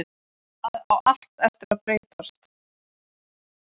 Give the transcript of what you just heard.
Það á allt eftir að breytast!